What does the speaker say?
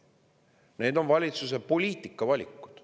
Need on valitsuse poliitika valikud.